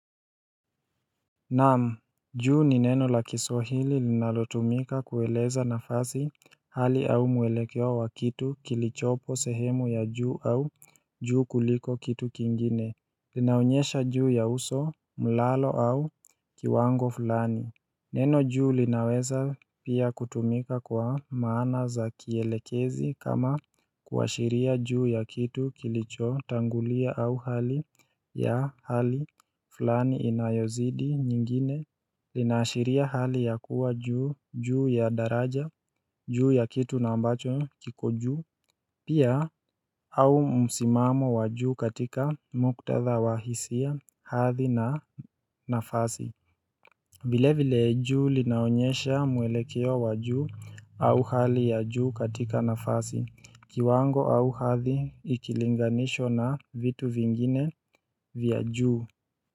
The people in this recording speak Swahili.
Naam, juu ni neno la kiswahili linalotumika kueleza nafasi hali au mwelekeo wa kitu kilichopo sehemu ya juu au juu kuliko kitu kingine Linaonyesha juu ya uso, mlalo au kiwango fulani Neno juu linaweza pia kutumika kwa maana za kielekezi kama kuashiria juu ya kitu kilichotangulia au hali ya hali fulani inayozidi nyingine Linaashiria hali ya kuwa juu ya daraja juu ya kitu na ambacho kiko juu Pia au msimamo wa juu katika muktatha wa hisia hadhi na nafasi vile vile juu linaonyesha mwelekeo wa juu au hali ya juu katika nafasi, kiwango au hadhi ikilinganishwa na vitu vingine vya juu.